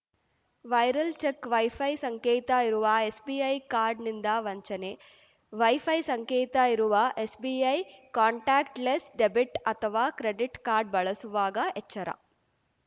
viral check wifi ಸಂಕೇತ ಇರುವ SBI ಕಾರ್ಡ್‌ನಿಂದ ವಂಚನೆ ವೈಫೈ ಸಂಕೇತ ಇರುವ ಎಸ್‌ಬಿಐ ಕಾಂಟಾಕ್ಟ್ ಲೆಸ್‌ ಡೆಬಿಟ್‌ ಅಥವಾ ಕ್ರೆಡಿಟ್‌ ಕಾರ್ಡ್‌ ಬಳಸುವಾಗ ಎಚ್ಚರ